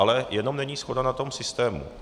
Ale jenom není shoda na tom systému.